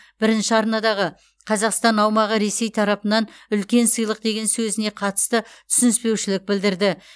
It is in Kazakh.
бірінші арнадағы қазақстан аумағы ресей тарапынан үлкен сыйлық деген сөзіне қатысты түсініспеушілік білдірді